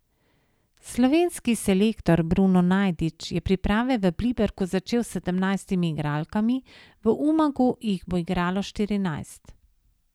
Slovenski selektor Bruno Najdič je priprave v Pliberku začel s sedemnajstimi igralkami, v Umagu jih bo igralo štirinajst.